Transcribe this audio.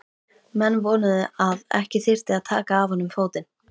Menn vonuðu að ekki þyrfti að taka af honum fótinn.